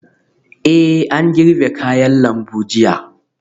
Eh an girbe kayan lambu jiya